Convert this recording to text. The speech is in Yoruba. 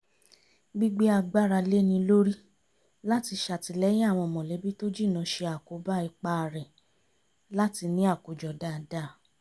gbígbé agbára léni lórí láti ṣàtìlẹ́yìn àwọn mọ̀lẹ́bí tó jìnnà ṣe àkóbá ipá rẹ̀ láti ní àkójọ dáadáa